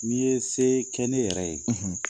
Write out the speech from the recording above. N'i ye se kɛ ne yɛrɛ ye.